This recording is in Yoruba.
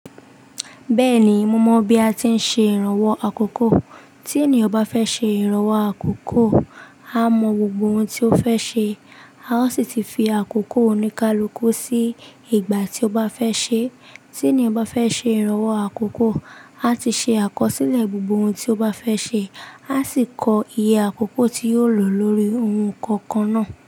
Bẹ́ẹ̀ni, mo mọ̀ bí a ti ń ṣe ìrànwọ́ àkókò. Tí ènìyàn bá fẹ́ ṣe ìrànwọ́ àkókò, a mọ gbogbo ohun tí ó fẹ́ ṣe. A ó sì ti fi àkókò oníkálukú sí ìgbà tí ó bá fẹ́ ṣe. Tí ènìyàn bá fẹ́ ṣe ìrànwọ́ àkókò, a ti ṣe àkọsílẹ̀ gbogbo ohun tí ó bá fẹ́ ṣe. A sì kọ iye àkókò tí yóò lò lórí ohun kọ̀ọ̀kan náà.